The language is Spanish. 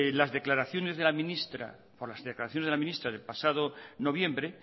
las declaraciones de la ministra del pasado noviembre